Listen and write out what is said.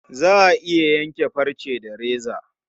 Za a iya yanke farce da reza.